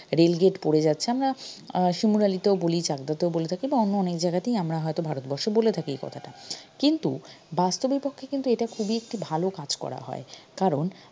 rail gate পড়ে যাচ্ছে আমরা আহ শিমুরালীতেও বলি চাকদাতেও বলে থাকি বা অন্য অনেক জাগাতেই আমরা হয়তো ভারতবর্ষে বলে থাকি এ কথাটা কিন্তু বাস্তবিক পক্ষে কিন্তু এটা খুবই একটি ভালো কাজ করা হয় কারণ